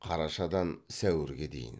қарашадан сәуірге дейін